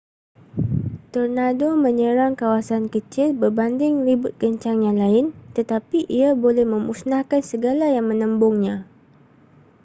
tornado menyerang kawasan kecil berbanding ribut kencang yang lain tetapi ia boleh memusnahkan segala yang menembungnya